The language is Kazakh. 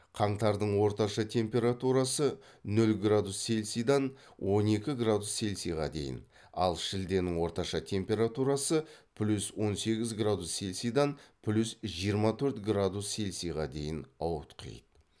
қаңтардың орташа температурасы нөл градус цельсийдан он екі градус цельсийға дейін ал шілденің орташа температурасы плюс он сегіз градус цельсийдан плюс жиырма төрт градус цельсийға дейін ауытқиды